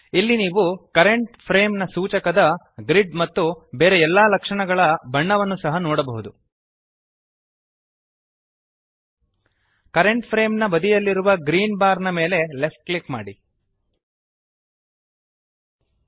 ಇಲ್ಲಿ ನೀವು current frame ನ ಸೂಚಕದ ಗ್ರಿಡ್ ಮತ್ತು ಬೇರೆ ಎಲ್ಲ ಲಕ್ಷಣಗಳ ಬಣ್ಣವನ್ನು ಸಹ ನೋಡಬಹುದು ಕರೆಂಟ್ ಫ್ರೇಮ್ ನ ಬದಿಯಲ್ಲಿರುವ ಗ್ರೀನ್ ಬಾರ್ ನ ಮೇಲೆ ಲೆಫ್ಟ್ ಕ್ಲಿಕ್ ಮಾಡಿರಿ